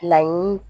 Laɲini